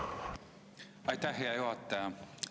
Aitäh, hea juhataja!